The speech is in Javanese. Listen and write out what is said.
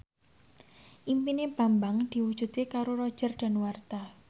impine Bambang diwujudke karo Roger Danuarta